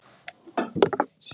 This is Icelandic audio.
Þú hættir að skrifa.